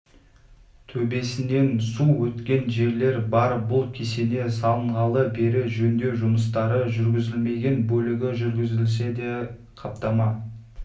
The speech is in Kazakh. төбесінен су өткен жерлер бар бұл кесене салынғалы бері жөндеу жұмыстары жүргізілмеген бөлігі жүргізілсе де қаптама